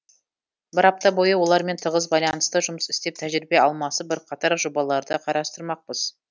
бір апта бойы олармен тығыз байланыста жұмыс істеп тәжірибе алмасып бірқатар жобаларды қарастырмақпыз